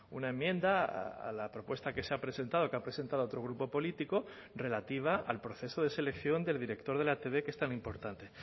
una enmienda a la propuesta que se ha presentado que ha presentado otro grupo político relativa al proceso de selección del director de la etb que es tan importante